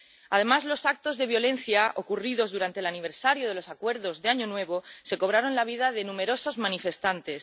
Además, los actos de violencia ocurridos durante el aniversario de los acuerdos de Año Nuevo se cobraron la vida de numerosos manifestantes.